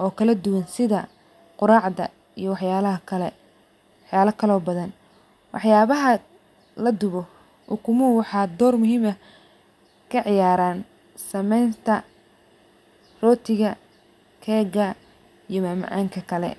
oo kala duwan sitha quracda iyo waxyala kale oo badan waxyabaha ladubo ukumuhu waxaa dor muhiim ah kaciyaran samenta rotiga kega iyo mamacanka kale.